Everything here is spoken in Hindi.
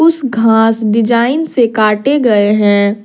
कुछ घास डिजाइन से काटे गए हैं।